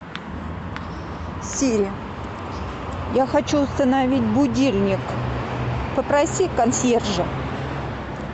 сири я хочу установить будильник попроси консьержа